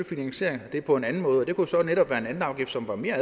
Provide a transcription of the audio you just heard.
finansiere det på en anden måde og det kunne så netop være ved en anden afgift som var mere